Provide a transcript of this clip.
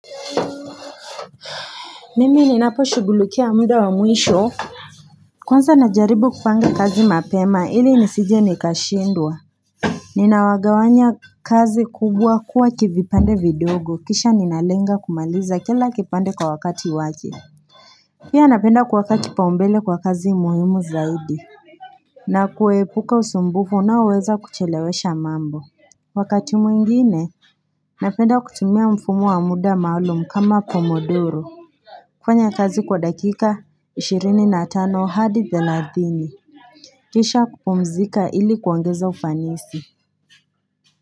Mimi ni napo shughulukia muda wa mwisho Kunza najaribu kufanga kazi mapema ili nisije nikashindwa Ninawagawanya kazi kubwa kuwa kivipande vidogo kisha ninalenga kumaliza kila kipande kwa wakati waje Pia napenda kwa wakati paumbele kwa kazi muhimu zaidi na kuwepuka usumbufu unaweza kuchelewesha mambo Wakati mwingine Napenda kutumia mfumu wa muda maulum kama pomodoro kufanya kazi kwa dakika ishirini na tano hadi za theladhini Kisha kupumzika ili kuangeza ufanisi.